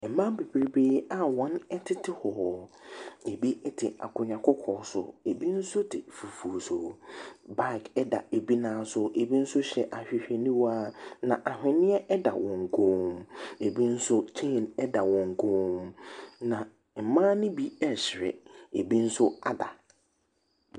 Mmaa bebrebee a wɔtete hɔ, bi te akonnwa kɔkɔɔ so, bi nso te fufuo so. Baage da bi nan so, bi nso hyɛ ahwehwɛniwa. Na aweneɛ da wɔn kɔn, bi nso chain da wɔn kɔn mu. Na mmaa ne bi ɛresere, bi nso ada.